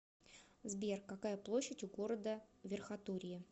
сбер какая площадь у города верхотурье